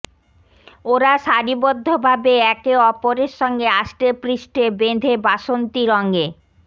ওরা সারিবদ্ধভাবে একে অপরের সঙ্গে আষ্টেপৃষ্ঠে বেঁধে বাসন্তী রঙে